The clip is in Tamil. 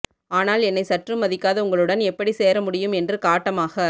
ஆனால் என்னை சற்றும் மதிக்காத உங்களுடன் எப்படி சேர முடியும் என்று காட்டமாக